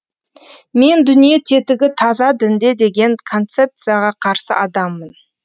мен дүние тетігі таза дінде деген концепцияға қарсы адаммын